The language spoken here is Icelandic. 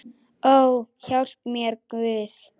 Ó, hjálpi mér Guð!